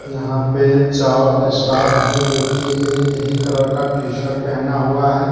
यहां पे चार स्टाफ है जोकि एक ही कलर का टी-शर्ट पहना हुआ है।